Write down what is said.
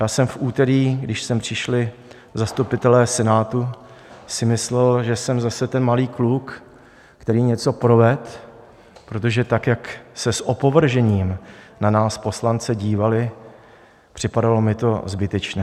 Já jsem v úterý, když sem přišli zastupitelé Senátu, si myslel, že jsem zase ten malý kluk, který něco provedl, protože tak, jak se s opovržením na nás poslance dívali - připadalo mi to zbytečné.